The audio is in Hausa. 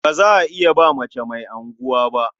Ba za iya ba mace mai unguwa ba.